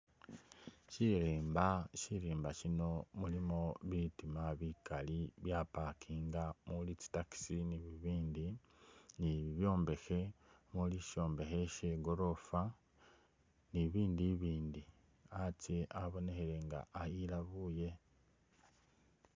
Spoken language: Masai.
Sirimba, sirimba sino mulimo bitima bikali bya'parkinga muli tsi taxi ni bibindi, ni bibyombekhe muli ishombekhe she goroofa ni ibindu ibindi, atsye abonekhele nga ayelabule